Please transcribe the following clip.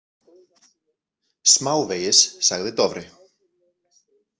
Smávegis, sagði Dofri.